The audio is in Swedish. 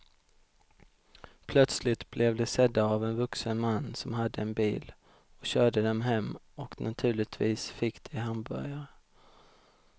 Plötsligt blev de sedda av en vuxen man som hade en bil och körde dem hem och naturligtvis fick de hamburgare.